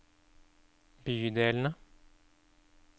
bydelene